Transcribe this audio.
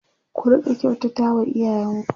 ku Rika kyautata wa iyayen ku